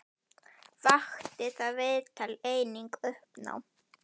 Vakti það viðtal einnig uppnám.